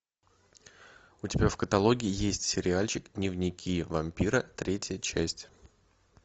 у тебя в каталоге есть сериальчик дневники вампира третья часть